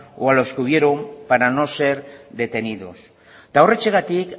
o a los que huyeron para no ser detenidos horrexegatik